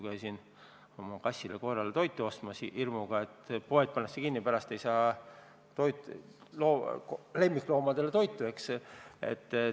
Käisin oma kassile ja koerale toitu ostmas hirmuga, et poed pannakse kinni ja pärast ei saa lemmikloomadele enam süüa.